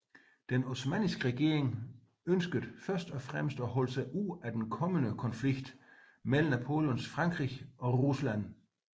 Den osmanniske regering ønskede først og fremmest at holde sig ude at den kommende konflikt mellem Napoleons Frankrig og Rusland